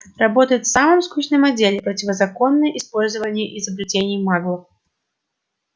работает в самом скучном отделе противозаконное использование изобретений маглов